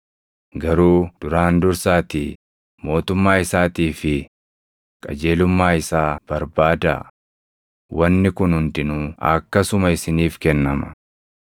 Garuu duraan dursaatii mootummaa isaatii fi qajeelummaa isaa barbaadaa; wanni kun hundinuu akkasuma isiniif kennama.